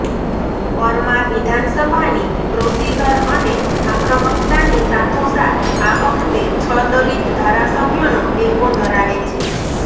પરમાર વિધાનસભાની પ્રોસીઝર અને આક્રમકતાની સાથોસાથ આ વખતે છ દલિત ધારાસભ્યોનો ટેકો ધરાવે છે